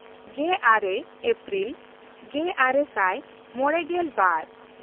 ᱜᱮᱼᱟᱨᱮ ᱮᱯᱨᱤᱞ ᱜᱮᱼᱟᱨᱮ ᱥᱟᱭ ᱢᱚᱬᱮᱜᱮᱞ ᱵᱟᱨ